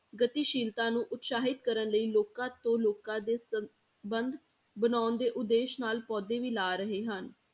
ਗਤੀਸ਼ੀਲਤਾ ਨੂੰ ਉਤਸ਼ਾਹਿਤ ਕਰਨ ਲਈ ਲੋਕਾਂ ਤੋਂ ਲੋਕਾਂ ਦੇ ਸੰਬੰਧ ਬਣਾਉਣ ਦੇ ਉਦੇਸ਼ ਨਾਲ ਪੌਦੇ ਵੀ ਲਾ ਰਹੇ ਹਨ।